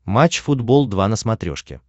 матч футбол два на смотрешке